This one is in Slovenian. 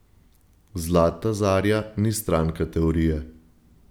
Zlata zarja ni stranka teorije.